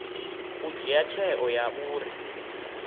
u dzhia tsheo ya uri